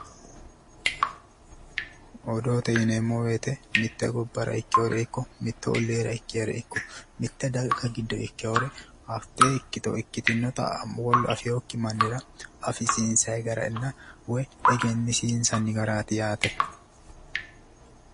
Odoote yineemmo woyte mitte gobbara ikkeyore ikko mittu olliira ikkiha ikko mitte daga giddo ikkeyore hattee ikkito ikkitinnota wolu afeyokki mannira afisiinsayi garanna woy egensiissanni garaati yaate